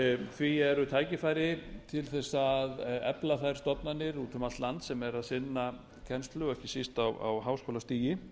því eru tækifæri til að efla þær stofnanir út um allt land sem eru að sinna kennslu og ekki síst á háskólastigi